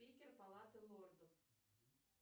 питер палаты лордов